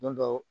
Don dɔw